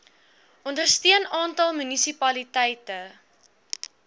ondersteun aantal munisipaliteite